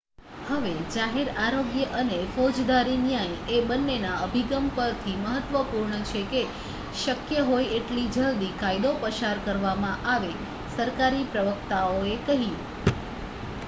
"""હવે જાહેર આરોગ્ય અને ફોજદારી ન્યાય એ બન્નેના અભિગમ પરથી મહત્ત્વપૂર્ણ છે કે શક્ય હોય એટલી જલદી કાયદો પસાર કરવામાં આવે," સરકારી પ્રવક્તાએ કહ્યું.